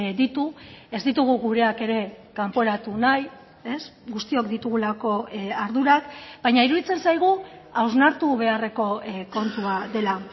ditu ez ditugu gureak ere kanporatu nahi guztiok ditugulako ardurak baina iruditzen zaigu hausnartu beharreko kontua dela